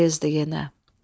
Payızdır yenə.